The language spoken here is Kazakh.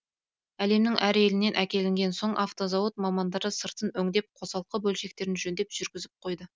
әлемнің әр елінен әкелінген соң автозауыт мамандары сыртын өңдеп қосалқы бөлшектерін жөндеп жүргізіп қойды